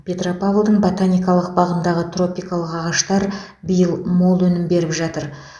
петропавлдың ботаникалық бағындағы тропикалық ағаштар биыл мол өнім беріп жатыр